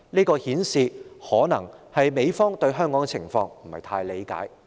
這顯示美方對香港的情況可能不太理解。